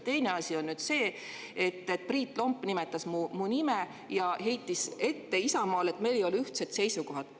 Teine asi on see, et Priit Lomp nimetas mu nime ja heitis Isamaale ette, et meil ei ole ühtseid seisukohti.